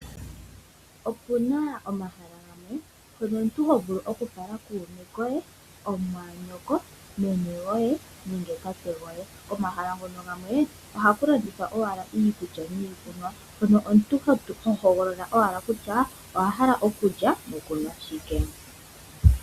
Opu na omahala gamwe mpono omuntu ho vulu okufala kuume koye omumwaanyoko, meme goye nenge tate goye . Omahala ngono gamwe ohaku landithwa owala iikulya niikunwa hono omuntu hohogolola owala kutya owa hala okulya nokunwa shike.